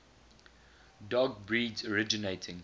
dog breeds originating